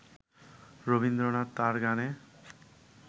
রবীন্দ্রনাথ তাঁর গানে